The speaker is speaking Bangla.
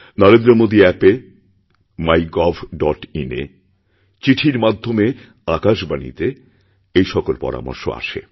নরেন্দ্রমোদী অ্যাপএ mygovin এ চিঠির মাধ্যমে আকাশবাণীতে এই সকল পরামর্শ আসে